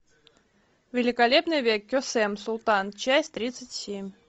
великолепный век кесем султан часть тридцать семь